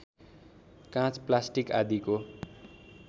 काँच प्लास्टिक आदिको